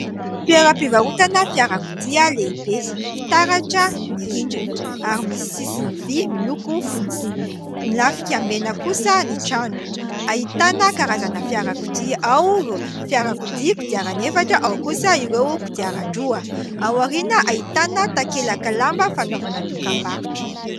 Toeram-pivarotana fiarakodia lehibe. Fitaratra ny rindrina ary misy sisiny vy miloko fotsy, milafika mena kosa ny trano. Ahitana karazana fiarakodia ao ireo fiarakodia kodiarana efatra ao kosa ireo kodiaran-droa ; aoriana ahitana takelaka lamba fanaovana dokam-barotra.